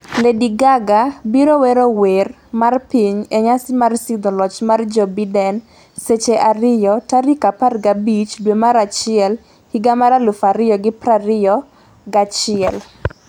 , Lady Gaga biro wero wer mar piny e nyasi mar sidho loch mar Joe Biden, Seche 2,0015 dwe mar achiel higa mar 2021 Winj,